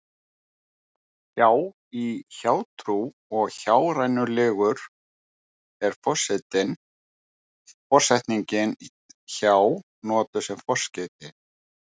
Hjá- í hjátrú og hjárænulegur er forsetningin hjá notuð sem forskeyti.